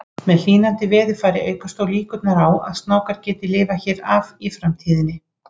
Með hlýnandi veðurfari aukast þó líkurnar á að snákar geti lifað hér af í framtíðinni.